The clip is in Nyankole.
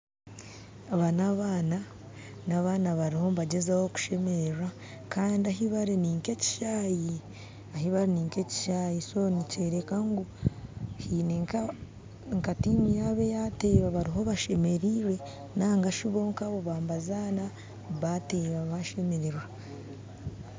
Aba n'abaana bariho nibagyezaho kushemererwa kandi ahi bari ninka ekishaayi nikyoreka ngu haine nka tiimu yaabo eyateeba bariho bashemerirwe nigashi bonka bo baaba nibazana bateeba bashemererwa